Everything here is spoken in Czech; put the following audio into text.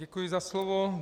Děkuji za slovo.